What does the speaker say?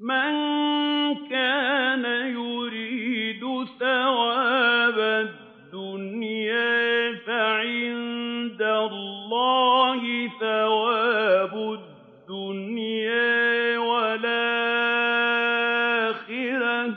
مَّن كَانَ يُرِيدُ ثَوَابَ الدُّنْيَا فَعِندَ اللَّهِ ثَوَابُ الدُّنْيَا وَالْآخِرَةِ ۚ